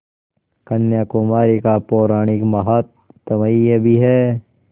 कन्याकुमारी का पौराणिक माहात्म्य भी है